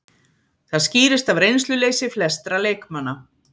Það skýrist af reynsluleysi flestra leikmanna